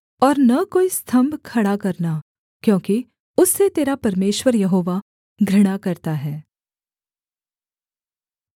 और न कोई स्तम्भ खड़ा करना क्योंकि उससे तेरा परमेश्वर यहोवा घृणा करता है